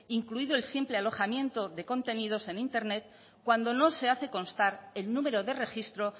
incluido el simple alojamiento de contenidos en internet cuando no se hace constar el número de registro